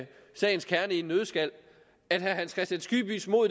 en nøddeskal at herre hans kristian skibbys mod